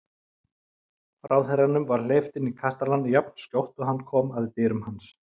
Ráðherranum var hleypt inn í kastalann jafnskjótt og hann kom að dyrum hans.